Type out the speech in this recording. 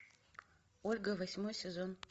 ольга восьмой сезон